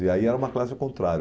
E aí era uma classe ao contrário.